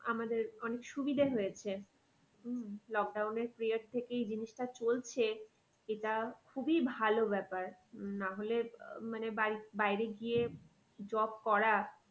আমাদের অনেক সুবিধা হয়েছে। উম lockdown এর period থেকেই এই জিনিসটা চলছে এটা খুবই ভালো ব্যাপার উম না হলে আহ মানে বাড়ির বাইরে গিয়ে job করা